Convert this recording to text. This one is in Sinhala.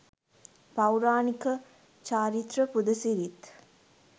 පෞරාණික චාරිත්‍ර පුද සිරිත්